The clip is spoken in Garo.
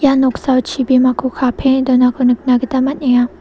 noksao chibimako kapenge donako nikna gita man·enga.